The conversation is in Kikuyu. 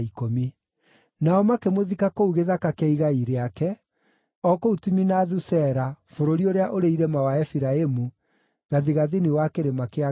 Nao makĩmũthika kũu gĩthaka kĩa igai rĩake, o kũu Timinathu-Sera bũrũri ũrĩa ũrĩ irĩma wa Efiraimu gathigathini wa kĩrĩma kĩa Gaashu.